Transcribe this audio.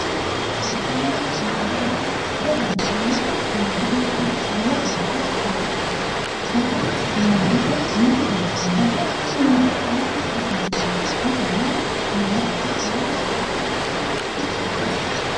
Daganna maate, daganna maate manchi beeettira lowo geeshsha kaa'litanno daga maatete maate dagate uurre halama hasiissanno, daga yaa maatete qole kaeno mini dagaati.